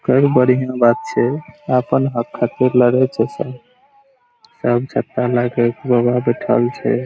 बढींन बात छै अपन हक खातिर लड़े छै सब सब छत्ता लाके बैठएल छै --